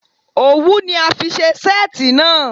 Owu ni a fi ṣe seeti naa